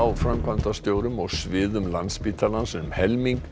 framkvæmdastjórum og sviðum Landspítalans um helming